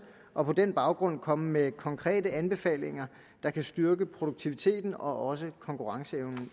og på den baggrund komme med konkrete anbefalinger der kan styrke produktiviteten og også konkurrenceevnen